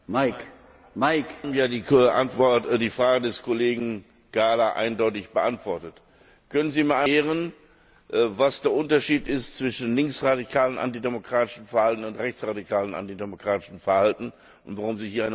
Sie haben ja die Frage des Kollegen Gahler eindeutig beantwortet. Können Sie mir einmal erklären, was der Unterschied ist zwischen linksradikalem antidemokratischem Verhalten und rechtsradikalem antidemokratischem Verhalten und warum Sie hier eine Unterscheidung durchführen?